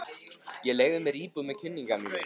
Ég leigði mér íbúð með kunningja mínum.